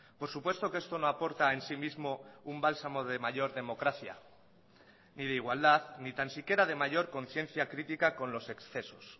por supuesto que esto no aporta en sí mismo un bálsamo de mayor democracia ni de igualdad ni tan siquiera de mayor conciencia crítica con los excesos